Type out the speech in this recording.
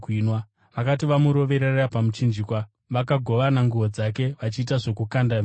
Vakati vamuroverera pamuchinjikwa, vakagovana nguo dzake vachiita zvokukanda mijenya.